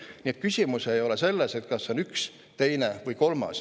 Nii et küsimus ei ole selles, et kas on üks, teine või kolmas.